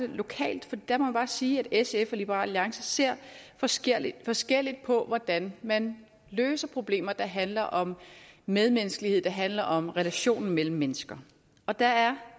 lokalt og der må jeg bare sige at sf og liberal alliance ser forskelligt forskelligt på hvordan man løser problemer der handler om medmenneskelighed der handler om relationen mellem mennesker og der er